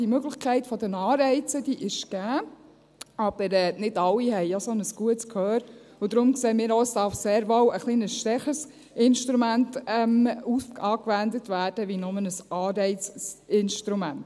Die Möglichkeit der Anreize ist gegeben, aber nicht alle haben ein so gutes Gehör und darum sehen wir auch, dass sehr wohl ein etwas stärkeres Instrument angewendet werden darf als nur ein Anreizinstrument.